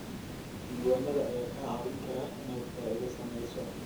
Diiwaanada ayaa kaa caawin kara inaad faa'iido samayso.